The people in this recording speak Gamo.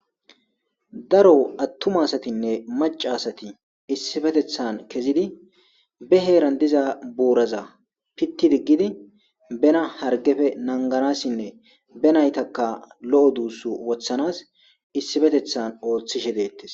daro attuma asatinne maca asati issifetethan kezidi be heeran diza buuraza pitti diggidi bena hargefe nanganassinne benaytaka lo7o duussu wothanas issifetethan ooththishe deettes